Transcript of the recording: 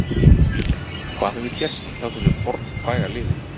Hvað hefur gerst hjá þessu fornfræga liði?